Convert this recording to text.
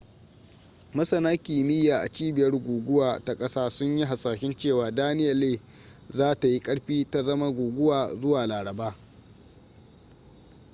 masana kimiyya a cibiyar guguwa ta kasa sun yi hasashen cewa danielle za ta yi ƙarfi ta zama guguwa zuwa laraba